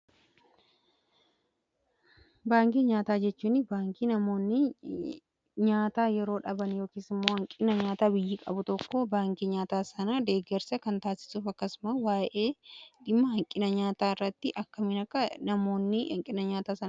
Baankii nyaataa jechuun baankii namoonni nyaata yeroo dhaban yookiis immoo hanqina nyaataa biyyi qabu tokko baankii nyaataa sana deeggarsa kan taasisuuf akkasumas waa’ee dhimma hanqina nyaataa irratti akka hin miidhamne namoonni hanqina nyaata sana.